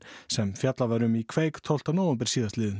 sem fjallað var um í kveik tólfta nóvember